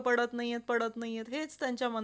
Thank you madam तुम्हाला पण thank